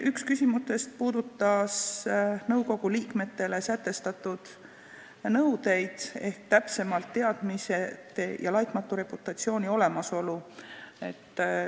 Üks küsimus puudutas nõukogu liikmetele sätestatud nõudeid, täpsemalt öeldes teadmiste ja laitmatu reputatsiooni olemasolu.